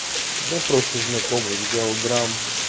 да просто знакомый взял грамм